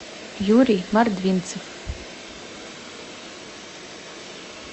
юрий мордвинцев